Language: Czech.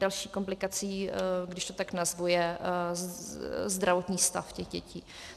Další komplikací, když to tak nazvu, je zdravotní stav těch dětí.